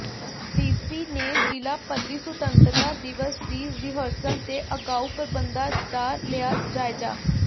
DC ਨੇ ਜ਼ਿਲ੍ਹਾ ਪੱਧਰੀ ਸੁਤੰਤਰਤਾ ਦਿਵਸ ਦੀ ਰਿਹਰਸਲ ਤੇ ਅਗਾਊਂ ਪ੍ਰਬੰਧਾਂ ਦਾ ਲਿਆ ਜਾਇਜ਼ਾ